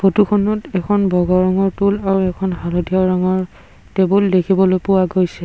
ফটোখনত এখন বগা ৰঙৰ টুল আৰু এখন হালধীয়া ৰঙৰ টেবুল দেখিবলৈ পোৱা গৈছে।